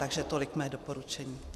Takže tolik mé doporučení.